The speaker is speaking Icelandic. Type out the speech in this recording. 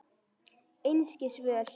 Einskis völ.